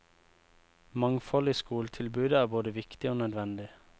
Mangfold i skoletilbudet er både viktig og nødvendig.